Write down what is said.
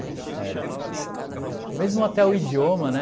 É, é. Mesmo até o idioma, né?